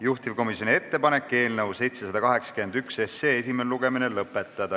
Juhtivkomisjoni ettepanek on eelnõu 781 esimene lugemine lõpetada.